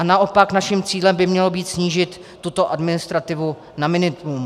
A naopak naším cílem by mělo být snížit tuto administrativu na minimum.